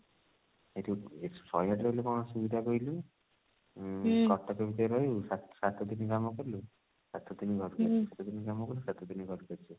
ଏଠି ଶହେ ଆଠ ରେ ରହିଲେ କଣ ଅସୁବିଧା କହିଲୁ ଉଁ କଟକ ଭିତରେ ରହିବୁ ସାତ ସାତ ଦିନ କାମ କଲୁ ସାତ ଦିନ ଘରକୁ ଆସିବୁ ସାତ ଦିନ କାମ କଲୁ ସାତ ଦିନ ଘରକୁ ଆସିବୁ